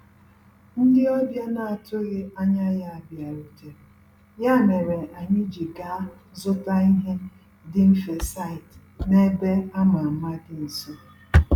Ndị ọbịa na-atụghị anya ya bịarutere, ya mere anyị ji gaa zụta ihe dị mfe site na ebe a ma ama dị nso.